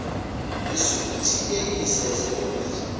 isuthikheyisi ezele imali